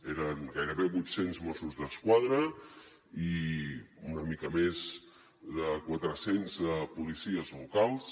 eren gairebé vuit cents mossos d’esquadra i una mica més de quatre cents policies locals